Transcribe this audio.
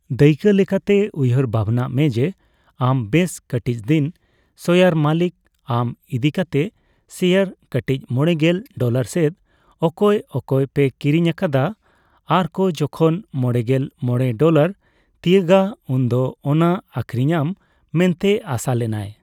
ᱫᱟᱹᱭᱠᱟᱹ ᱞᱮᱠᱟᱛᱮ, ᱩᱭᱠᱟᱹᱨ ᱵᱷᱟᱵᱱᱟᱭ ᱢᱮ ᱡᱮ ᱟᱢ ᱵᱮᱥ ᱠᱟᱴᱤᱪᱫᱤᱱ ᱥᱳᱭᱟᱨ ᱢᱟᱞᱤᱠ᱾ ᱟᱢ ᱤᱫᱤᱠᱟᱛᱮᱜ ᱥᱮᱭᱟᱨ ᱠᱟᱴᱤᱪ ᱢᱚᱲᱮᱜᱮᱞ ᱰᱚᱞᱟᱨ ᱥᱮᱫ ᱚᱠᱚᱭ ᱚᱠᱭ ᱯᱮ ᱠᱤᱨᱤᱧ ᱟᱠᱟᱫᱟ ᱟᱨ ᱠᱚ ᱡᱚᱠᱷᱚᱱ ᱢᱚᱲᱮᱜᱮᱞ ᱢᱚᱲᱮ ᱰᱚᱞᱟᱨ ᱛᱤᱭᱟᱜᱟ ᱩᱱᱫᱚ ᱚᱱᱟ ᱟᱠᱷᱤᱨᱤᱧᱟᱢ ᱢᱮᱱᱛᱮ ᱟᱥᱟ ᱞᱮᱱᱟᱭ ᱾